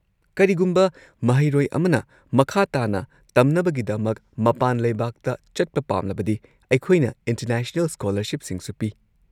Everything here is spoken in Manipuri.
ꯀꯔꯤꯒꯨꯝꯕ ꯃꯍꯩꯔꯣꯏ ꯑꯃꯅ ꯃꯈꯥ ꯇꯥꯅ ꯇꯝꯅꯕꯒꯤꯗꯃꯛ ꯃꯄꯥꯟ ꯂꯩꯕꯥꯛꯇ ꯆꯠꯄ ꯄꯥꯝꯂꯕꯗꯤ ꯑꯩꯈꯣꯏꯅ ꯏꯟꯇꯔꯅꯦꯁꯅꯦꯜ ꯁ꯭ꯀꯣꯂꯔꯁꯤꯞꯁꯤꯡꯁꯨ ꯄꯤ꯫